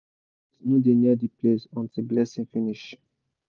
even goat no dey near the place until blessing finish